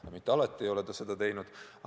Ta ei ole seda mitte alati teinud.